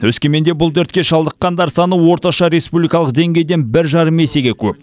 өскеменде бұл дертке шалдыққандар саны орташа республикалық деңгейден бір жарым есеге көп